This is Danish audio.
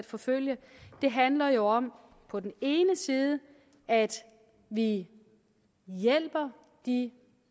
forfølge handler jo om på den ene side at vi hjælper de